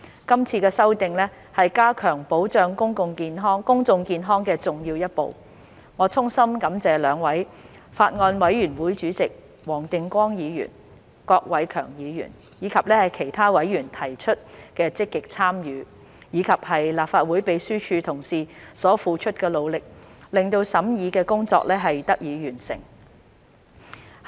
今次修訂是加強保障公眾健康的重要一步，我衷心感謝兩位法案委員會主席黃定光議員、郭偉强議員，以及其他委員的積極參與，以及立法會秘書處同事所付出的努力，令審議工作得以完成。